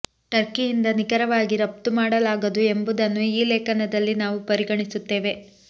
ಟರ್ಕಿಯಿಂದ ನಿಖರವಾಗಿ ರಫ್ತು ಮಾಡಲಾಗದು ಎಂಬುದನ್ನು ಈ ಲೇಖನದಲ್ಲಿ ನಾವು ಪರಿಗಣಿಸುತ್ತೇವೆ